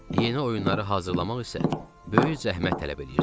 Yeni oyunları hazırlamaq isə böyük zəhmət tələb eləyirdi.